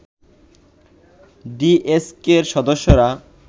ডিএসকের সদস্যরা